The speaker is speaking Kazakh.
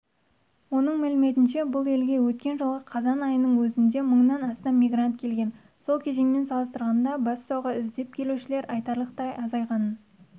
оның мәліметінше бұл елге өткен жылғы қазан айының өзінде мыңнан астам мигрант келген сол кезеңмен салыстырғанда бассауға іздеп келушілер айтарлықтай азайғанын